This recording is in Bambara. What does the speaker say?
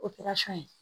ye